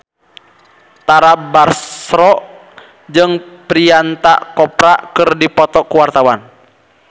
Tara Basro jeung Priyanka Chopra keur dipoto ku wartawan